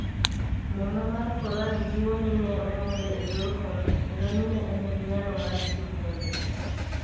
Muma mar Koran jiwo ni ne onyuole e yor hono kendo ni ne en gi nyalo mar timo honni.